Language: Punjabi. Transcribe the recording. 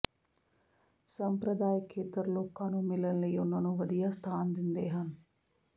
ਸੰਪਰਦਾਇਕ ਖੇਤਰ ਲੋਕਾਂ ਨੂੰ ਮਿਲਣ ਲਈ ਉਨ੍ਹਾਂ ਨੂੰ ਵਧੀਆ ਸਥਾਨ ਦਿੰਦੇ ਹਨ